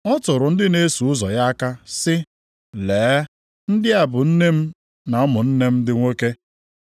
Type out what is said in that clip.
Ọ tụrụ ndị na-eso ụzọ ya aka, sị, “Lee, ndị a bụ nne m na ụmụnne m ndị nwoke.